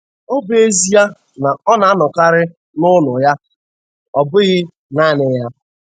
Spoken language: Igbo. Ọ bụ ezie na ọ na-anọkarị n'ụlọ ya, ọ bụghị naanị ya.